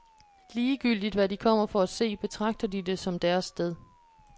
Ligegyldigt hvad de kommer for at se, betragter de det som deres sted.